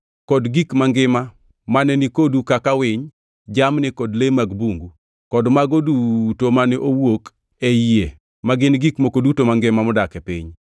kod gik mangima mane ni kodu kaka winy, jamni kod le mag bungu; kod mago duto mane owuok ei yie ma gin gik moko duto mangima modak e piny.